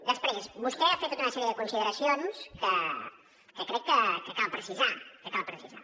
després vostè ha fet tota una sèrie de consideracions que crec que cal precisar que cal precisar